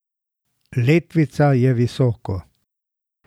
Letvica je visoko.